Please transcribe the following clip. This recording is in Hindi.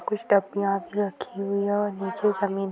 कुछ तपियाँ यहाँ पे रखी हुई हैं और नीचे जमीन --